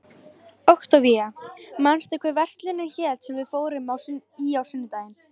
Októvía, manstu hvað verslunin hét sem við fórum í á sunnudaginn?